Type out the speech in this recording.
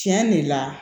Tiɲɛ de la